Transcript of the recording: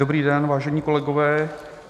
Dobrý den, vážení kolegové.